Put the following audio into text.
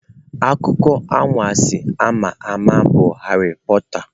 Akụkọ anwansi a ma ama bụ Harry Porter.